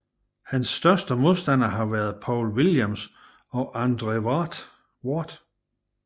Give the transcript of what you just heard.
Hans største modstandere har været Paul Williams og Andre Ward